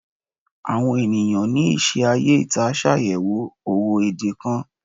Awon eniyan ni ise aye ita ṣayẹwo owo ede kan